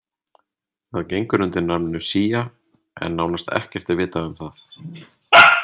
Það gengur undir nafninu Xia en nánast ekkert er vitað um það.